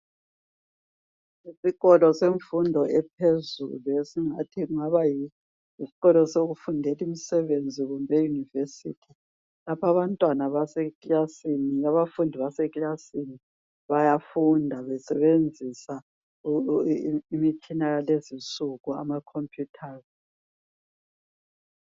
Isikolo semfundo ephezulu esingathi kungaba yisikolo sokufundela imisebenzi kumbe e university lapho abantwana base kilasini abafundi basekilasini bayafunda besebenzisa imitshina yalezinsuku amacomputers